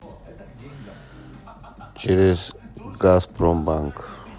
через газпромбанк